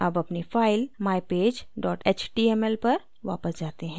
अब अपनी file mypage html पर वापस जाते हैं